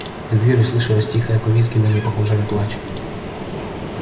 за дверью слышалось тихое повизгиванье похожее на плач